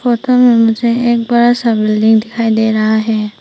Photo में मुझे एक बड़ा सा बिल्डिंग दिखाई दे रहा है।